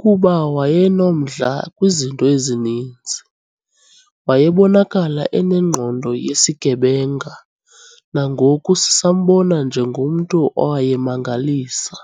kuba wayenomdla kwizinto ezininzi, wayebonakala enengqondo yesigebenga, nangoku sisambona njengomntu owayemangalisa.